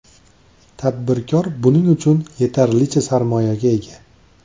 Tadbirkor buning uchun yetarlicha sarmoyaga ega.